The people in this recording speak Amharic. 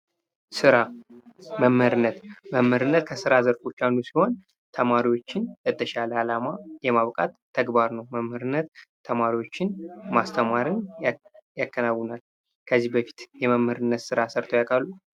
ስራ መምህርነት መምህርነት ከስራ ዘርፎች አንዱ ተማሪዎችን ለተሻለ አላማ የማብቃት ስራ ነው። መምህርነት ተማሪዎችን ማስተማርን ያከናውናል። ከዚህ በፊት የመምህርነት ስራ ሰርተው ያውቃሉ?